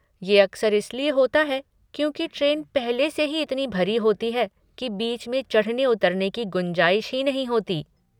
ये अक्सर इसलिए होता है क्योंकि ट्रेन पहले से ही इतनी भरी होती है की बीच में चढ़ने उतरने की गुंजाइश ही नहीं होती।